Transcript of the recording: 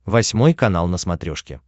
восьмой канал на смотрешке